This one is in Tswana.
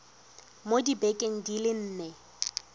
mo dibekeng di le nne